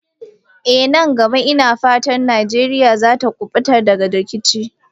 Eh, nan gaba ina fata Najeriya za ta kubuta daga rikici.